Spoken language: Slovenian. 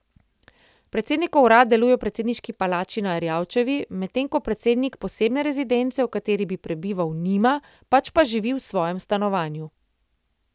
Predsednikov urad deluje v predsedniški palači na Erjavčevi, medtem ko predsednik posebne rezidence, v kateri bi prebival, nima, pač pa živi v svojem stanovanju.